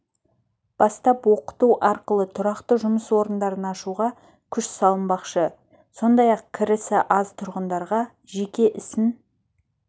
бастап оқыту арқылы тұрақты жұмыс орындарын ашуға күш салынбақшы сондай-ақ кірісі аз тұрғындарға жеке ісін